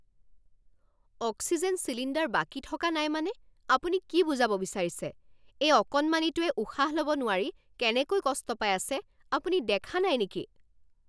Oxygen cylinder বাকী থকা নাই মানে আপুনি কি বুজাব বিচাৰিছে? এই অকণমানিটোৱে উশাহ ল'ব নোৱাৰি কেনেকৈ কষ্ট পাই আছে আপুনি দেখা নাই নেকি?